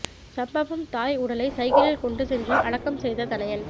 சம்பவம் தாய் உடலை சைக்கிளில் கொண்டு சென்று அடக்கம் செய்த தனயன்